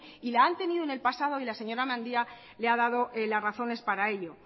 y la han tenido en el pasado y la señora mendia le ha dado las razones para ello